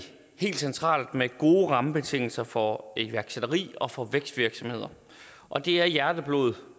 helt centralt med gode rammebetingelser for iværksætteri og for vækstvirksomheder og det er hjerteblod for